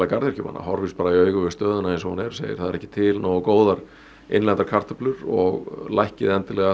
garðyrkjumanna horfist í augu við stöðuna eins og hún er og segir það er ekki til nógu góðar innlendar kartöflur og lækkið